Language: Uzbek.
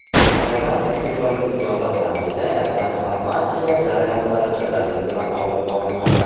"Agrobank" aksiyadorlik tijorat bankida transformatsiya jarayonlari jadallik bilan olib borilmoqda.